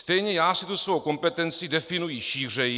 Stejně já si tu svou kompetenci definuji šířeji.